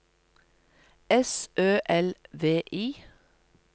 S Ø L V I